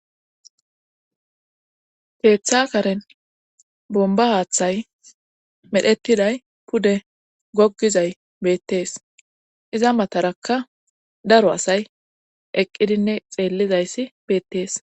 keeththa karen bomba haaththay medhettiday pude goggizay beettees iza matarakka daro asay eqqidinne xeellizayssi beettees